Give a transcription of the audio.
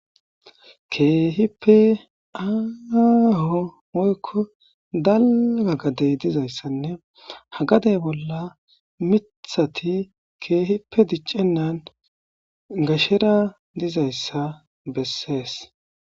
keehippe aaaho moykko dalga gadey dizayssanne hagadey bolla mithati keehipe diccennan gashera dizayssa bessees